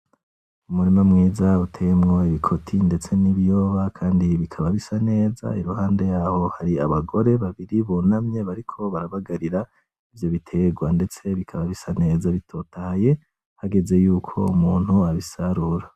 Umurima mwiza watewemwo ibikoti ndetse nibiyoba, kandi bikaba bisa neza, iruhande yaho hakaba hariho abagore babiri bunamye bariko barabagarira ibiterwa ndetse bikaba bisa neza bitotaye hageze yuko umuntu abisarura.